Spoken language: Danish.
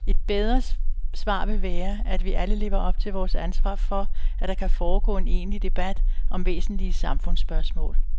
Et bedre svar vil være, at vi alle lever op til vores ansvar for, at der kan foregå en egentlig debat om væsentlige samfundsspørgsmål.